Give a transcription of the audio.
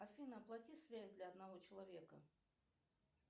афина оплати связь для одного человека